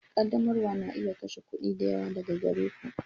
Ƙaddamarwa na iya kashe kuɗi da yawa daga gare ku.